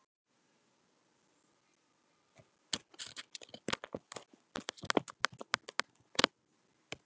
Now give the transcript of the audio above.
Þorbjörn: Leggurðu áherslu á að kona leysi hana af hólmi?